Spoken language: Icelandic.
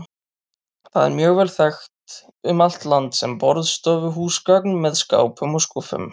Það er mjög vel þekkt um allt land sem borðstofuhúsgagn með skápum og skúffum.